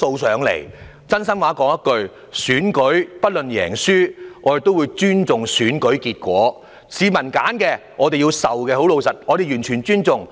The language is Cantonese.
說一句真心話，無論選舉是贏是輸，我們也會尊重選舉結果，接受市民所選。